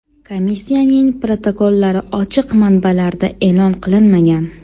Komissiyaning protokollari ochiq manbalarda e’lon qilinmagan.